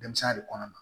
Denmisɛn ya de kɔnɔ